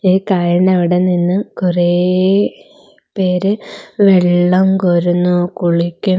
ഈ കായലിന് അവിടെ നിന്ന് കുറെ പേര് വെള്ളം കോരുന്നു കുളിക്കു --